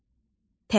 Təbil